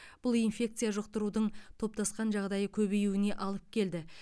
бұл инфекция жұқтырудың топтасқан жағдайы көбеюіне алып келді